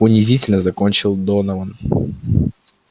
унизительно закончил донован